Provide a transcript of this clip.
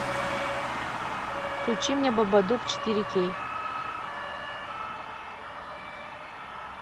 включи мне бабадук четыре кей